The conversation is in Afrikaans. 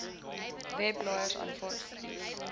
webblaaiers aanvaar koekies